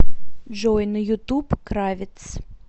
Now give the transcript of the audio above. джой на ютуб кравец